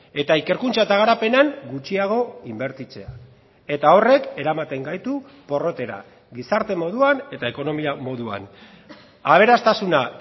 eta ikerkuntza eta garapenean gutxiago inbertitzea eta horrek eramaten gaitu porrotera gizarte moduan eta ekonomia moduan aberastasuna